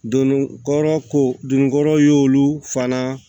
Donnin kɔrɔ ko dunkɔrɔ y'olu fana